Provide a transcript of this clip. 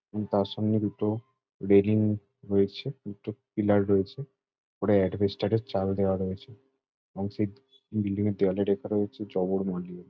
উ তার সঙ্গে দুটো রেলিং রয়েছে। দুটো পিলার রয়েছে। পুরো এডভেস্টার র চাল দেওয়া রয়েছে এবং সেই বিল্ডিং -এর দেওয়ালে ডে করা হয়েছে ।